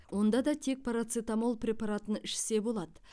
онда да тек парацетамол препаратын ішсе болады